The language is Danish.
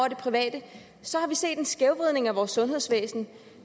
i det private så har vi set en skævvridning af vores sundhedsvæsen